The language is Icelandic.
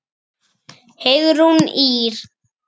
Heiðrún Ýr.